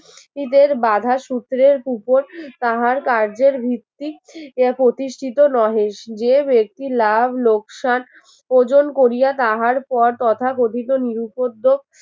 ঈদের বাধার সূত্রের উপর তাহার কার্যের ভিত্তিক এ প্রতিষ্ঠিত নহে যে ব্যক্তি লাভ লোকসান ওজন করিয়া তাহার পথ তথাকথিত নিরুপদ্রব